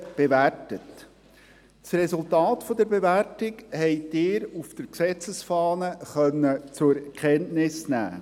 Vom Resultat der Bewertung konnten Sie auf der Gesetzesfahne Kenntnis nehmen.